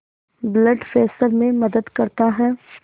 blood pressure में मदद करता है